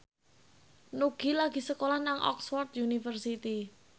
Nugie lagi sekolah nang Oxford university